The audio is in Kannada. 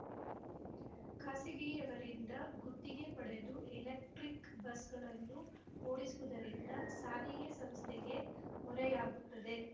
ಖಾಸಗಿಯವರಿಂದ ಗುತ್ತಿಗೆ ಪಡೆದು ಎಲೆಕ್ಟ್ರಿಕ್ ಬಸ್‌ಗಳನ್ನು ಓಡಿಸುವುದರಿಂದ ಸಾರಿಗೆ ಸಂಸ್ಥೆಗೆ ಹೊರೆಯಾಗುತ್ತದೆ